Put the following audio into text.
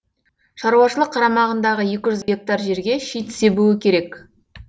шаруашылық қарамағындағы екі жүз гектар жерге шит себуі керек